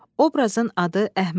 Oobrazın adı Əhməd.